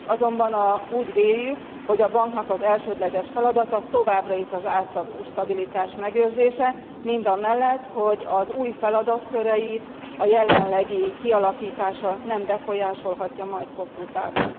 Azonban úgy véljük, hogy a banknak az elsődleges feladata továbbra is az árstabilitás megőrzése mindamellett, hogy új feladatköreit a jelenlegi kialakítása nem befolyásolhatja majd hosszú távon.